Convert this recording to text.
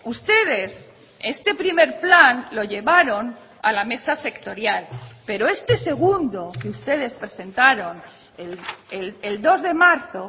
ustedes este primer plan lo llevaron a la mesa sectorial pero este segundo que ustedes presentaron el dos de marzo